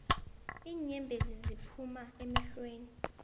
iinyembezi ziphuma emehlweni